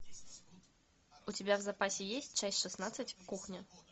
у тебя в запасе есть часть шестнадцать кухня